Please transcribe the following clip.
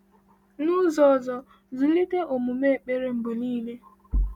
N’ụzọ ọzọ, zụlite omume ekpere mgbe niile.